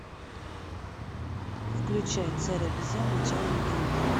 включай царь обезьян начало легенды